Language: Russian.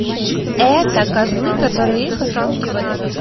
это козлы которые их отпугивали